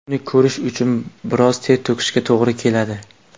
Uni ko‘rish uchun biroz ter to‘kishga to‘g‘ri keladi .